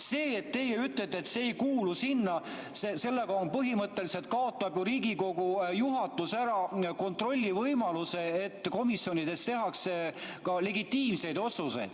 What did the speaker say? Sellega, kui teie ütlete, et see ei kuulu sinna, põhimõtteliselt kaotab ju Riigikogu juhatus ära kontrolli võimaluse, et komisjonides tehakse ka legitiimseid otsuseid.